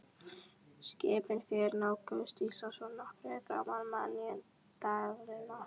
Skipin fjögur nálguðust Ísland í nöprum gráma maínæturinnar.